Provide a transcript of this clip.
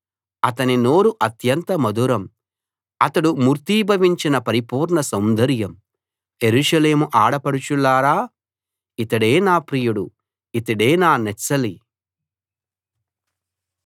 అతని నోరు అత్యంత మధురం అతడు మూర్తీభవించిన పరిపూర్ణ సౌందర్యం యెరూషలేము ఆడపడుచులారా ఇతడే నా ప్రియుడు ఇతడే నా నెచ్చెలి